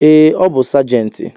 Ee, ọ bu sajenti